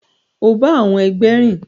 O ba àwọn ẹgbẹ rìn!